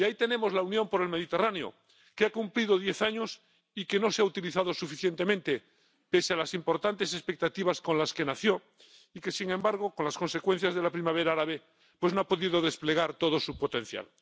Y ahí tenemos la Unión por el Mediterráneo, que ha cumplido diez años y que no se ha utilizado suficientemente, pese a las importantes expectativas con las que nació y que, sin embargo, con las consecuencias de la Primavera Árabe, no ha podido desplegar todo su potencial.